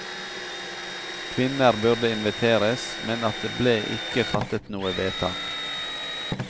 Kvinner burde inviteres, men at det ble ikke fattet noe vedtak.